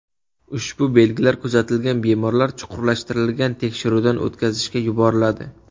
Ushbu belgilar kuzatilgan bemorlar chuqurlashtirilgan tekshiruvdan o‘tkazishga yuboriladi.